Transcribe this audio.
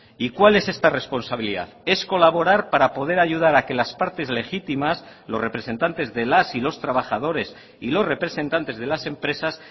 y cuál es esta responsabilidad es colaborar para poder ayudar a que las partes legítimas los representantes de las y los trabajadores y los representantes de las empresas